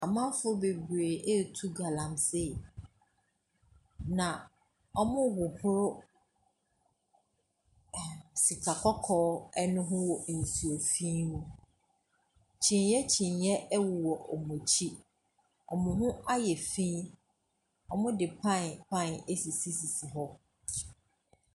Amanfoɔ bebree retu galamsey, na wɔrehoro ɛ sika kɔkɔɔ no ho wɔ nsuo fi mu. Kyiniiɛ kyiniiɛ wɔ wɔn akyi. Wɔn ho ayɛ fi. Wɔde pan pan asisisisi hɔ.